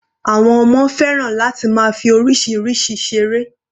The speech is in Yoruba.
Àwọn ọmọ fẹ́ràn láti máa fi oríṣiríṣi ìseré.